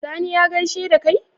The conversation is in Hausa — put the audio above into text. Sani ya gaishe dakai?